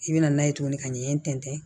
I bɛ na n'a ye tuguni ka ɲɛ in tɛntɛn